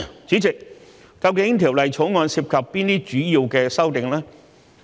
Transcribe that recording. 主席，究竟《條例草案》涉及哪些主要的修訂呢？